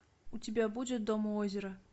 у тебя будет дом у озера